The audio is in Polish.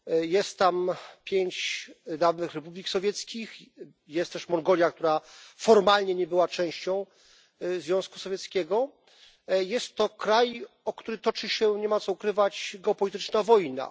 Jest tam pięć dawnych republik radzieckich i jest też Mongolia, która formalnie nie była częścią Związku Radzieckiego. Jest to kraj, o który toczy się nie ma co ukrywać geopolityczna wojna.